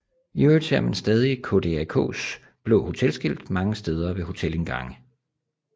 I øvrigt ser man stadig KDAKs blå hotelskilt mange steder ved hotelindgange